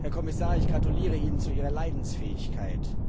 Herr Kommissar, ich gratuliere Ihnen zu Ihrer Leidensfähigkeit.